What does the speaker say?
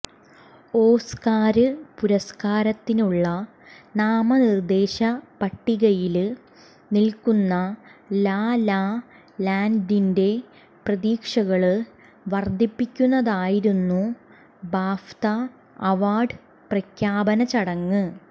Oscar പുരസ്കാരത്തിനുള്ള നാമനിര്ദേശ പട്ടികയില് നില്ക്കുന്ന ലാ ലാ ലാന്ഡിന്റെ പ്രതീക്ഷകള് വര്ധിപ്പിക്കുന്നതായിരുന്നു ബാഫ്ത അവാര്ഡ് പ്രഖ്യാപനചടങ്ങ്